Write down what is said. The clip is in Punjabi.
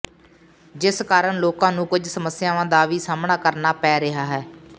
ਜਿਸ ਕਾਰਨ ਲੋਕਾਂ ਨੂੰ ਕੁਝ ਸਮੱਸਿਆਵਾਂ ਦਾ ਵੀ ਸਾਹਮਣਾ ਕਰਨਾ ਪੈ ਰਿਹਾ ਹੈ